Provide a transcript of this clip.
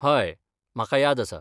हय, म्हाका याद आसा.